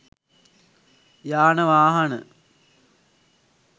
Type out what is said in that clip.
යාන වාහන